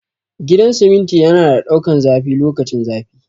Gidan siminti yana da daukan zafi lokacin zafi